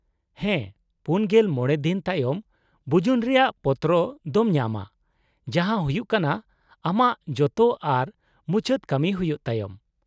-ᱦᱮᱸ, ᱔᱕ ᱫᱤᱱ ᱛᱟᱭᱚᱢ ᱵᱩᱡᱩᱱ ᱨᱮᱭᱟᱜ ᱯᱚᱛᱨᱚ ᱫᱚᱢ ᱧᱟᱢᱟ, ᱡᱟᱦᱟᱸ ᱦᱩᱭᱩᱜ ᱠᱟᱱᱟ ᱟᱢᱟᱜ ᱡᱚᱛᱚ ᱟᱨ ᱢᱩᱪᱟᱹᱫ ᱠᱟᱹᱢᱤ ᱦᱩᱭᱩᱜ ᱛᱟᱭᱚᱢ ᱾